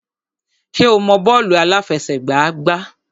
Ṣé o mọ bọ́ọ̀lù àláfẹsẹ̀gbá gbá?